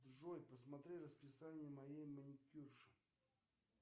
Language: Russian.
джой посмотри расписание моей маникюрши